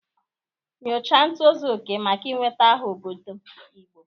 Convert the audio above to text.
Nyochaa ntozu oke maka ị nweta aha n'obodo Igbo.